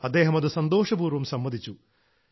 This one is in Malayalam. അദ്ദേഹം അത് സന്തോഷപൂർവ്വം സമ്മതിച്ചു